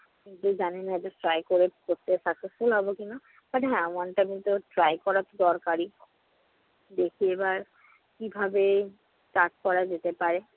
জানি না যে try করে successful হবো কিনা। but আমি one time তো try করা দরকারই। দেখি এবার কিভাবে start করা যেতে পারে।